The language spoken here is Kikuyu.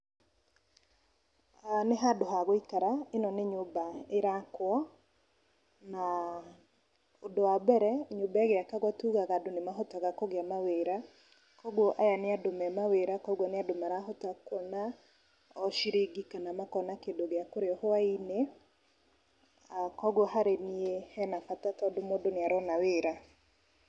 Nĩ handũ hagũikara, ĩno nĩ nyũmba ĩrakwo, na ũndũ wa mbere nyũmba ĩgĩakwo tugaga andũ nĩ mahotaga kũgĩa na wĩra, koguo aya nĩ andũ mena wĩra, koguo nĩ andũ marahota kuona o ciringi kana makona kĩndũ gĩa kũrĩa hwai-inĩ , aah koguo harĩ niĩ hena bata, tondũ mũndũ nĩ arona wĩra.